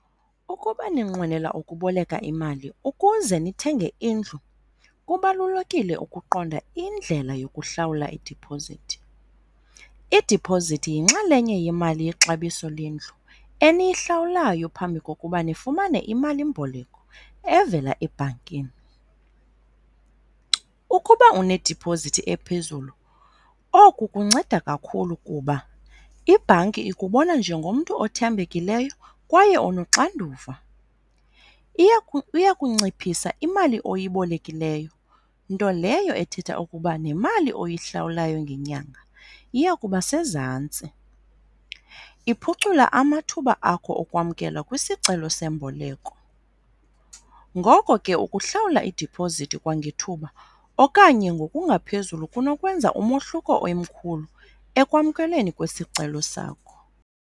Ukuba ninqwenela ukuboleka imali ukuze nithenge indlu kubalulekile ukuqonda indlela yokuhlawula idiphozithi. Idiphozithi yinxalenye yemali yexabiso lendlu eniyihlawulayo phambi kokuba nifumane imalimboleko evela ebhankini. Ukuba unediphozithi ephezulu, oku kunceda kakhulu kuba ibhanki ikubona njengomntu othembekileyo kwaye onoxanduva. Iya kunciphisa imali oyibolekileyo, nto leyo ethetha ukuba nemali oyihlawulayo ngenyanga iya kuba sezantsi. Iphucula amathuba akho okwamkelwa kwisicelo semboleko, ngoko ke ukuhlawula idiphozithi kwangethuba okanye ngokungaphezulu kunokwenza umohluko omkhulu ekwamkelweni kwesicelo sakho.